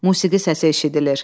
Musiqi səsi eşidilir.